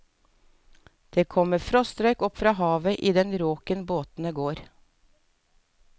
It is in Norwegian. Det kommer frostrøyk opp fra vannet i den råken båtene går.